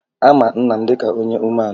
A ma nna m dịka onye umeala